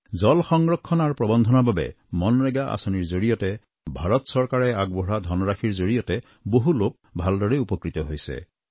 জল সংৰক্ষণ আৰু প্ৰৱন্ধনৰ বাবে মনৰেগা আঁচনিৰ জৰিয়তে ভাৰত চৰকাৰে আগবঢ়োৱা ধনৰাশিৰ জৰিয়তে বহু লোক ভালদৰেই উপকৃত হৈছে